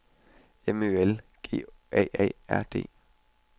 M Ø L G A A R D